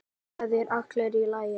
Það er allt í lagi.